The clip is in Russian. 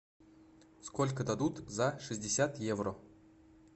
сколько дадут за шестьдесят евро